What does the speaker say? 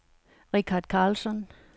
Richard Carlsson